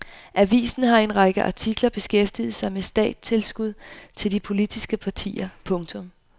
Avisen har i en række artikler beskæftiget sig med statstilskud til de politiske partier. punktum